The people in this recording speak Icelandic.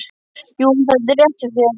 Jú, þetta er rétt hjá þér.